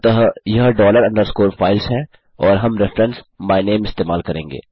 अतः यह dollar underscore files है और हम रेफेरेंस मायनेम इस्तेमाल करेंगे